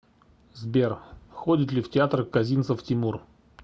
сбер ходит ли в театр козинцев тимур